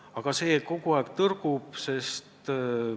Aga kogu aeg on mingi tõrge ees.